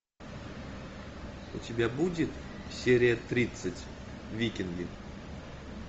у тебя будет серия тридцать викинги